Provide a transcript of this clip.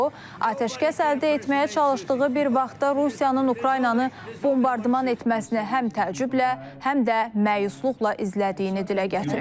O, atəşkəs əldə etməyə çalışdığı bir vaxtda Rusiyanın Ukraynanı bombardman etməsini həm təəccüblə, həm də məyusluqla izlədiyini dilə gətirib.